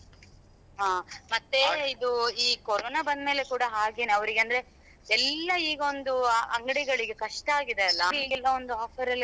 ಹಾ ಮತ್ತೆ ಇದು ಈ ಕೊರೊನಾ ಬಂದ್ಮೇಲೆ ಕೂಡ ಹಾಗೇನೇ ಅವರಿಗಂದ್ರೆ ಎಲ್ಲಾ ಈಗ ಒಂದು ಆ ಅಂಗ್ಡಿಗಳಿಗೆ ಕಷ್ಟ ಆಗಿದೆಯಲ್ಲ ಅದಕ್ಕೆಲ್ಲ ಒಂದು offer ಎಲ್ಲ,